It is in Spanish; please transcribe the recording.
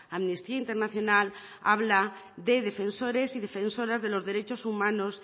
amnistía internacional habla de defensores y defensoras de los derechos humanos